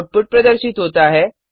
output प्रदर्शित होता है